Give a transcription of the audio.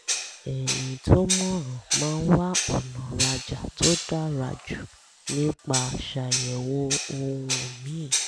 ẹni tó mọ̀ràn máa ń wá ọ̀nà rajà tó dára jù nípa ṣàyẹ̀wò ohun míì